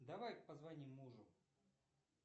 давай позвоним мужу